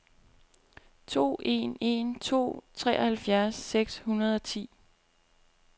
to en en to treoghalvfjerds seks hundrede og ti